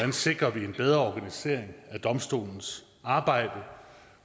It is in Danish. vi sikrer en bedre organisering af domstolens arbejde